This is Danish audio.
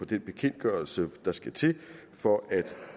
den bekendtgørelse der skal til for at